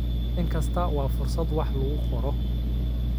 Maalin kasta waa fursad wax lagu qoro.